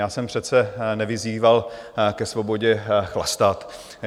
Já jsem přece nevyzýval ke svobodě chlastat.